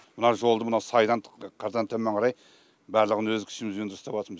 мына жолды мына сайдан қырдан төмен қарай барлығын өз күшімізбен жөндеп істеп жатырмыз